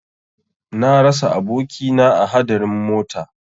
Na rasa abokina a hadarin mota.